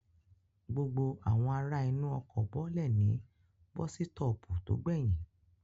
Gbogbo àwọn ará inú ọkọ̀ bọ́lẹ̀ ní bọ́sítọ̀ọ̀pù tó gbẹyìn